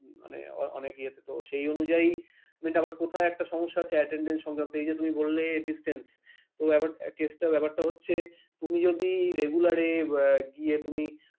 মানে অনেক ইয়াতে সেই অনুযায়ী এটা কোথায় একটা সমস্যা আছে attendence সঙ্গে তো করলে distance তো আবার কেসটা ব্যাপারটা হচ্ছে তুমি যদি regular গিয়ে তুমি,